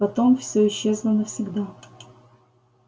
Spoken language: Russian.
потом все исчезло навсегда